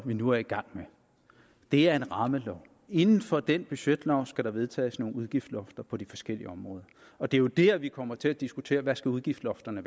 vi nu er i gang med er en rammelov inden for den budgetlov skal der vedtages nogle udgiftslofter på de forskellige områder og det er jo der vi kommer til at diskutere hvad udgiftslofterne